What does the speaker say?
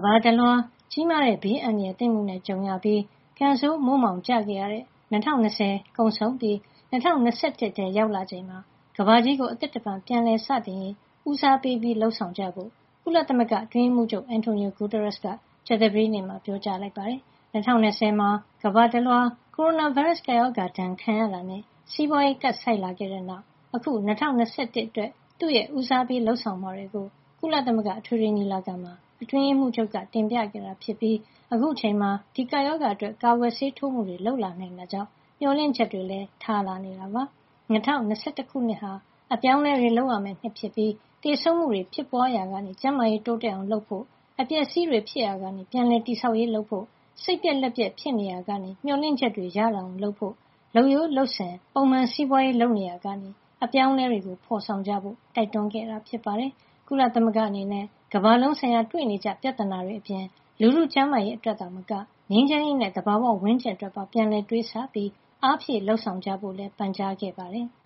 ဘာတလွှား ကြီးမားတဲ့ ဘေးအန္တရာယ်သင့်မှုနဲ့ ကြုံရပြီး ကံဆိုးမိုးမှောင် ကျခဲ့ရတဲ့ ၂၀၂၀ ကုန်ဆုံးပြီး ၂၀၂၁ ခုနှစ်ထဲ ရောက်လာချိန်မှာ ကမ္ဘာကြီးကို အသစ်တဖန် ပြန်လည်စတင်ရေးကို ဦးစားပေး လုပ်ဆောင်ကြဖို့ ကုလသမဂ္ဂအတွင်းရေးမှူးချုပ် Antonio Guterres က ကြာသပတေးနေ့မှာ ပြောပါတယ်။ ၂၀၂၀ မှာ ကမ္ဘာတလွှား ကိုရိုနာဗိုင်းရပ်စ် ကပ်ရောဂါဒဏ်ခံရတာနဲ့ စီးပွါးရေးကပ်ဆိုက်လာခဲ့တဲ့ နောက် အခု ၂၀၂၁ အတွက် သူ့ရဲ့ ဦးစားပေးလုပ်ဆောင်မှာတွေကို ကုလသမဂ္ဂအထွေထွေညီလာခံမှာ အတွင်းရေးမှူးချုပ်က တင်ပြခဲ့တာ ဖြစ်ပြီး အခုအချိန်မှာ ဒီကပ်ရောဂါအတွက် ကာကွယ်ဆေးထိုးမှုတွေ လုပ်လာနိုင်တာကြောင့် မေ ျှာ်လင့်ချက်တွေလည်း ထားလာနေတာပါ။ ၂၀၂၁ ခုနှစ်ဟာ အပြောင်းအလဲတွေ လုပ်ရမယ့်နှစ်ဖြစ်ပြီး သေဆုံးမှုတွေ ဖြစ်ပွားနေရာကနေ ကျန်းမာရေးတိုးတက်လာအောင် လုပ်ဆောင်ဖို့ အပျက်အစီးတွေ ဖြစ်နေရာကနေ ပြန်လည်တည်ဆောက်ရေးတွေ လုပ်ဖို့ စိတ်ပျက်လက်ပျက် ဖြစ်နေရာကနေ မေ ျှာ်လင့်ချက်တွေရလာအောင် လုပ်ဖို့ လုပ်ရိုးလုပ်စဉ် ပုံမှန်စီးပွါးရေးလုပ်နေရာကနေ အပြောင်းအလဲတွေ ဖေါ်ဆောင်ကြဖို့ တိုက်တွန်းခဲ့တာပါ။ ကုလသမဂ္ဂအနေနဲ့ ကမ္ဘာလုံးဆိုင်ရာ တွေ့နေကြပြဿနာတွေ အပြင် လူထုကျန်းမာရေး အတွက်သာမက ငြိမ်းချမ်းရေးနဲ့ သဘာဝဝန်းကျင်အတွက်ပါ ပြန်လည်တွေးဆပြီး အားဖြည့် လုပ်ဆောင်ကြဖို့လည်း ပန်ကြားခဲ့ပါတယ်။